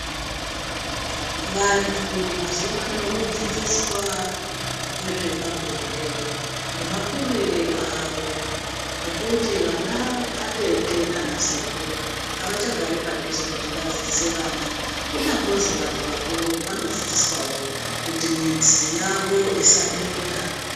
Vantu mazuva ano vodzidziswa ngezvepabonde nemakuriro awo ngekuti vana atete nana sekuru avachagari padhuze kuti vadzidziswe vana kunyambozi vantu vakuru vanodzidziswawo kuti mizi yawo isadonta.